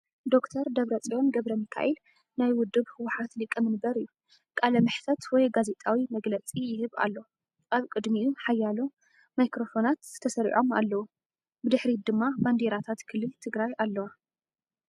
ዶ/ር ደብረፅዮን ገብረሚካኤል ናይ ውድብ ህወሓት ሊቀ መንበር እዩ። ቃለ መሕትት ወይ ጋዜጣዊ መግለጺ ይህብ ኣሎ። ኣብ ቅድሚኡ ሓያሎ ማይክሮፎናት ተሰሪዖም ኣለዉ። ብድሕሪት ድማ ባንዴራታት ክልል ትግራይ ኣለዋ።